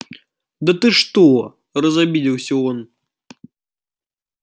да ты что разобиделся он